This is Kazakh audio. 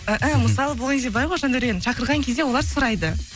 мысалы бұл жерде былай ғой жандәурен шақырған кезде олар сұрайды